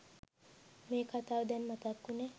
මේ කතාව දැන් මතක් උනේ?